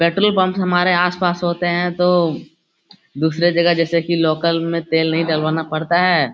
Petrol pump हमारे आसपास होते हैं तो दूसरे जगह जैसे कि लोकल में तेल नहीं डलवाना पड़ता है।